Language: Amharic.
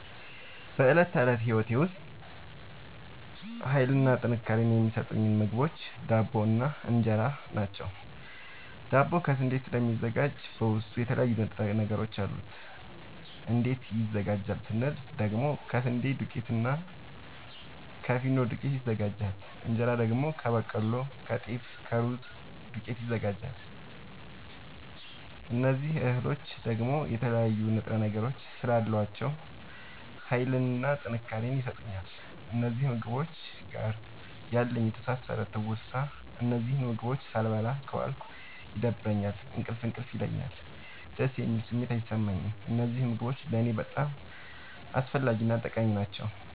በእለት ተለት ህይወቴ ዉስጥ ሀይልንና ጥንካሬን የሚሠጡኝ ምግቦች ዳቦ እና እን ራ ናቸዉ። ዳቦ ከስንዴ ስለሚዘጋጂ በዉስጡ የተለያዩ ንጥረ ነገሮች አሉት። እንዴት ይዘጋጃል ስንል ደግሞ ከስንዴ ዱቄትና እና ከፊኖ ዱቄት ይዘጋጃል። እንጀራ ደግሞ ከበቆሎ ከጤፍ ከሩዝ ዱቄት ይዘጋጃል። እዚህ እህሎይ ደግሞ የተለያዩ ንጥረ ነገሮች ስላሏቸዉ ሀይልንና ጥንካሬን ይሠጡኛል። ከእነዚህ ምግቦች ጋር ያለኝ የተሣሠረ ትዉስታ እነዚህን ምግቦች ሣልበላ ከዋልኩ ይደብረኛል እንቅልፍ እንቅልፍ ይለኛል። ደስ የሚል ስሜት አይሠማኝም። እነዚህ ምግቦች ለኔ በጣም አስፈላጊናጠቃሚ ናቸዉ።